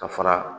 Ka fara